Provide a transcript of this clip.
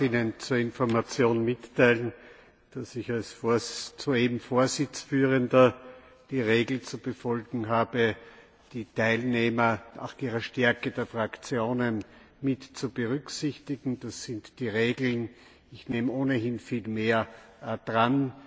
Ich darf Ihnen zur Information mitteilen, dass ich als Vorsitzführender die Regel zu befolgen habe, die Teilnehmer nach der Stärke ihrer Fraktionen mit zu berücksichtigen. Das sind die Regeln. Ich nehme ohnehin viel mehr Redner dran.